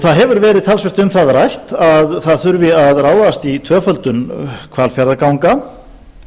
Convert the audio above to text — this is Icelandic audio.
það hefur verið talsvert um það rætt að það þurfi að ráðast í tvöföldun hvalfjarðarganga